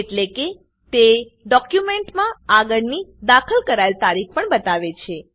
એટલેકે તે તે ડોક્યુમેન્ટમાં આગળની દાખલ કરાયેલ તારીખ પણ બતાવે છે